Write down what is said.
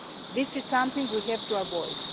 This is something we have to avoid.